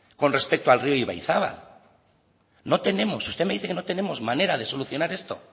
con respecto al río ibaizabal usted me dice que no tenemos manera de solucionar esto